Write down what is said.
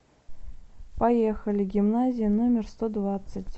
поехали гимназия номер сто двадцать